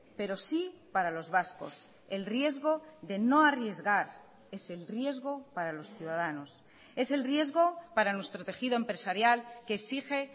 pero sí para los vascos el riesgo de no arriesgar es el riesgo para los ciudadanos es el riesgo para nuestro tejido empresarial que exige